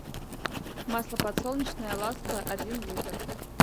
масло подсолнечное ласка один литр